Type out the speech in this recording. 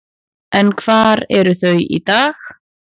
En hvar eru þau í dag?